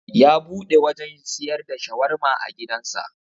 Ya buɗe wajan siyar da shawarma a gidan sa